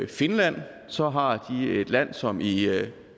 finland så har de et land som i